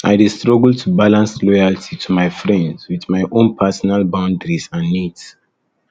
i dey struggle to balance loyalty to my friends with my own personal personal boundaries and needs